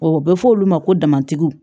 O bɛ fɔ olu ma ko damatigiw